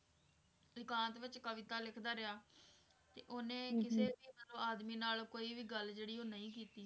ਇਕਾਂਤ ਵਿੱਚ ਕਵਿਤਾ ਲਿਖਦਾ ਰਿਹਾ ਤੇ ਉਹਨੇ ਕਿਸੇ ਵੀ ਮਤਲਬ ਆਦਮੀ ਨਾਲ ਕੋਈ ਵੀ ਗੱਲ ਜਿਹੜੀ ਆ ਉਹ ਨਹੀਂ ਕੀਤੀ।